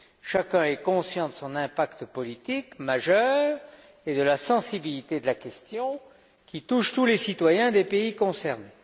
Chacun est conscient de son impact politique majeur et de la sensibilité de la question qui touche tous les citoyens des pays concernés.